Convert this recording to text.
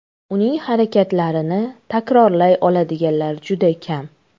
Uning harakatlarini takrorlay oladiganlar juda kam.